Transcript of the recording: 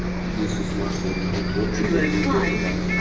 если сможешь соединить локти то ты доска